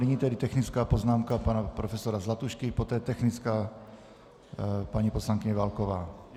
Nyní tedy technická poznámka pana profesora Zlatušky, poté technická paní poslankyně Válková.